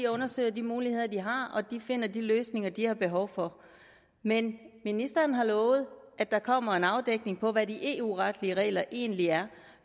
undersøger de muligheder de har og at de finder de løsninger de har behov for men ministeren har lovet at der kommer en afdækning af hvad de eu retlige regler egentlig er